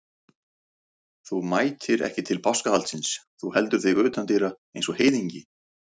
Þú mætir ekki til páskahaldsins, þú heldur þig utan dyra eins og heiðingi.